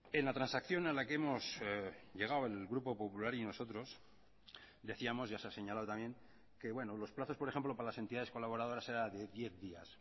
en la transacción a la que hemos llegado el grupo popular y nosotros decíamos ya se ha señalado también que bueno los plazos por ejemplo para las entidades colaboradoras era de diez días